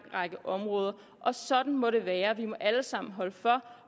række områder og sådan må det være vi skal alle sammen holde for